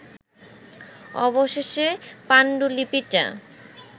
অবশেষে পাণ্ডুলিপিটা